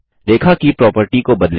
रेखा की प्रोप्रटी को बदलें